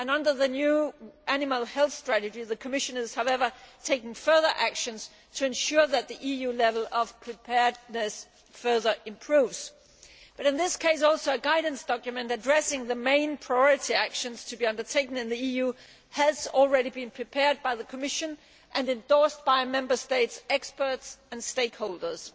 Under the new animal health strategy, the Commission is, however, taking further actions to ensure that the EU level of preparedness further improves. In this case also a guidance document addressing the main priority actions to be undertaken in the EU has already been prepared by the Commission and endorsed by Member States' experts and stakeholders.